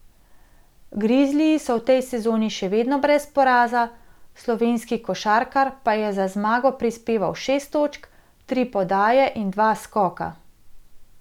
Grizliji so v tej sezoni še vedno brez poraza, slovenski košarkar pa je za zmago prispeval šest točk, tri podaje in dva skoka.